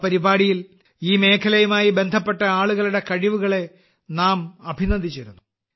ആ പരിപാടിയിൽ ഈ മേഖലയുമായി ബന്ധപ്പെട്ട ആളുകളുടെ കഴിവുകളെ നാം അഭിനന്ദിച്ചിരുന്നു